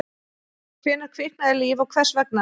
Hvenær kviknaði líf og hvers vegna?